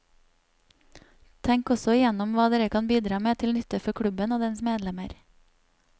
Tenk også igjennom hva dere kan bidra med til nytte for klubben og dens medlemmer.